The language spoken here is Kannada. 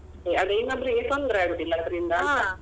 ಅದೇ ಇನ್ನೊಬ್ರಿಗೆ ತೊಂದ್ರೆ ಆಗುದಿಲ್ಲ ಅದ್ರಿಂದ ಅಂತ.